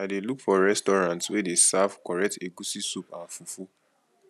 i dey look for restaurant wey dey serve correct egusi soup and fufu